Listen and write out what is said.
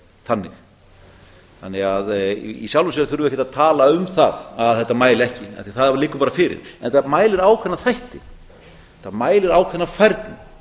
sé þannig í sjálfu sér þurfum við því ekkert að tala um það að þetta mæli ekki af því að það liggur bara fyrir en það mælir ákveðna þætti þetta mælir ákveðna færni